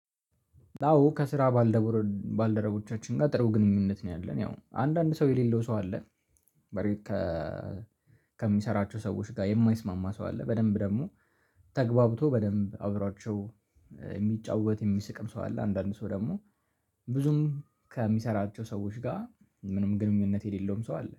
አዎ ከስራ ባልደረቦቻችን ጋር ጥሩ ግንኙነት ነው ያለን ያው አንዳንድ ሰው የሌለው ሰው አለ። በረከ ከሚሰራቸው ሰዎች ጋር የማይስማማ ሰው አለ። በደንብ ደግሞ ተግባብቶ በደንብ አውራቸው የሚጫወት የሚስቅም ሰው አለ። አንዳንድ ሰው ደግሞ ብዙም ከሚሰራቸው ሰዎች ጋር ምንም ግንኙነት የሌለውም ሰው አለ